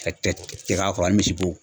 K'a cɛ cɛ k'a kɔrɔ ani misibo